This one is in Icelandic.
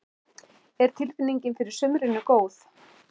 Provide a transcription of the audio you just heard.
Er tilfinningin fyrir sumrinu góð?